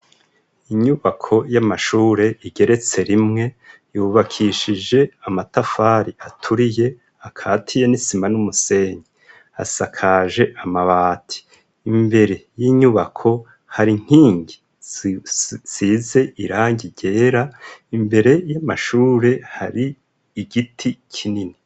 Inyubako y'amashure igeretse rimwe ,yubakishije amatafari aturiye ,akatiye n'isima n'umusenyi asakaje amabati ,imbere y'inyubako hari nkingi zisize irangi ryera, imbere y'amashure hari igiti kinini.